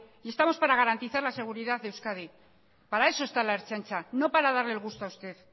y estamos para garantizar la seguridad a euskadi para eso está la ertzaintza no para darle el gusto a usted